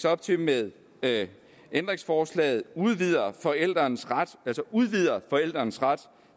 op til med ændringsforslaget at vi udvider forældrenes ret altså udvider forældrenes ret